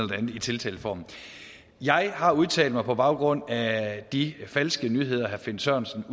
det andet i tiltaleformen jeg har udtalt mig på baggrund af de falske nyheder herre finn sørensen